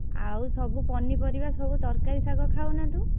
ଆଉ ସବୁ ପନିପରିବା ସବୁ ତରକାରୀ ଶାଗ ଖାଉନା ତୁ?